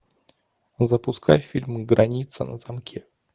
запускай фильм граница на замке